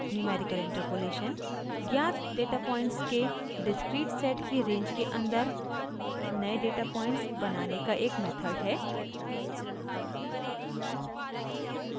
numerical interpolation ज्ञात data points के discrete set की रेंज के अंदर नए डेटा पॉइंट्स बनाने का एक मेथड है